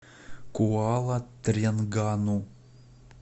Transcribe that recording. куала тренгану